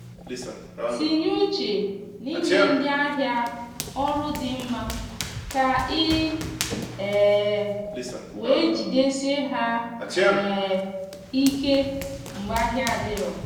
tinye uche n’inye ndị ahịa ọrụ di mma ka ị um wee jidesie ha um ike mgbe ahịa adiro